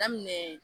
Daminɛ